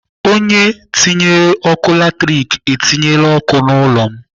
Onye tinyere ọkụ latrik etinyela ọkụ n'ụlọ m.